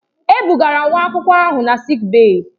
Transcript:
E bugara nwa akwụkwọ ahụ na sịịk bèyí.